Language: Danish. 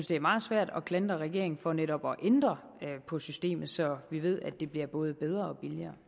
det er meget svært at klandre regeringen for netop at ændre på systemet så vi ved at det bliver både bedre